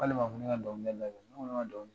K'ale ma fɔ ko ne ka dɔn kɛ dabila ? Ne ko ne ma dɔn kɛ.